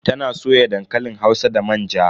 Ta na soya dankalin hausa da manja.